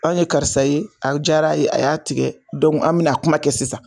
Anw ye karisa ye a diyara ye a y'a tigɛ an bɛna a kuma kɛ sisan